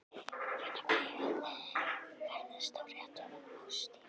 Hvenær fæ ég að ferðast á réttum árstíma?